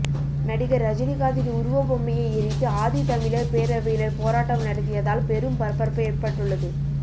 நடிகர் ரஜினிகாந்தின் உருவபொம்மையை எரித்து ஆதித்தமிழர் பேரவையினர் போராட்டம் நடத்தியதால் பெரும் பரபரப்பு ஏற்பட்டுள்ளது